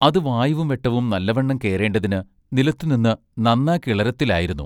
അതു വായുവും വെട്ടവും നല്ലവണ്ണം കേറേണ്ടതിന് നിലത്തുനിന്ന് നന്നാ കിളരത്തിലായിരുന്നു.